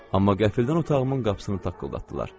Amma qəfildən otağımın qapısını taqqıldatdılar.